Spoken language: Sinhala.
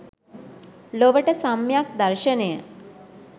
ලොවට සම්‍යක් දර්ශනය